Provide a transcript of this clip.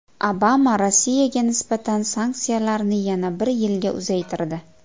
Obama Rossiyaga nisbatan sanksiyalarni yana bir yilga uzaytirdi.